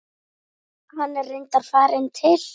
Hann er reyndar farinn til